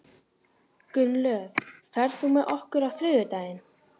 Gunnlöð, ferð þú með okkur á þriðjudaginn?